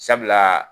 Sabula